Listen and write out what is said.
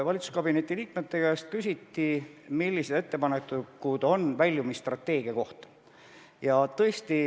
Valitsuskabineti liikmete käest küsiti, millised ettepanekud on väljumisstrateegia kohta.